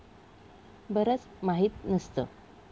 बरंच माहीत नसतं!